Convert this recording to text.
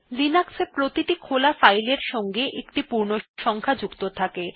Linux এ প্রত্যেক খোলা ফাইল এর সঙ্গে একটি পূর্ণসংখ্যা সংখ্যা যুক্ত থাকে